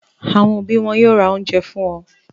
Àwọn òbí wọn yóò ra oúnjẹ fún wọn.